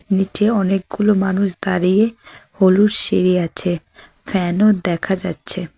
নীচে অনেকগুলো মানুষ দাঁড়িয়ে হলুদ সিঁড়ি আছে ফ্যান -ও দেখা যাচ্ছে।